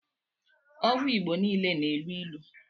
ọgwụ igbọ niile na- elụ ilụ